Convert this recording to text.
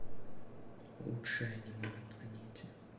лучшее аниме на планете